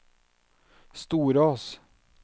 Storås